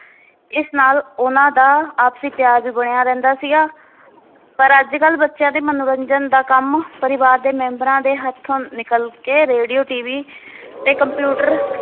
ਇਸ ਨਾਲ ਉਹਨਾਂ ਦਾ ਆਪਸੀ ਪਿਆਰ ਵੀ ਬਣਿਆ ਰਹਿੰਦਾ ਸੀਗਾ ਪਰ ਅੱਜ ਕਲ ਬੱਚਿਆਂ ਦੇ ਮਨੋਰੰਜਨ ਦਾ ਕੰਮ ਪਰਿਵਾਰ ਦੇ ਮੈਂਬਰਾਨ ਦੇ ਹੱਥੋਂ ਨਿਕਲ ਕੇ ਰੇਡੀਓ TV ਤੇ computer